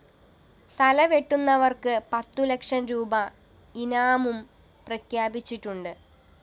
തലവെട്ടുന്നവര്‍ക്ക് പത്തു ലക്ഷം രൂപീ ഇനാമും പ്രഖ്യാപിച്ചിട്ടുണ്ട്